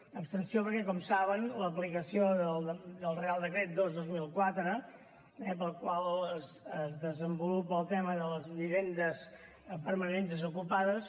una abstenció perquè com saben l’aplicació del reial decret dos dos mil quatre pel qual es desenvolupa el tema de les vivendes permanentment desocupades